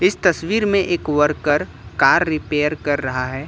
इस तस्वीर में एक वर्कर कार रिपेयर कर रहा है।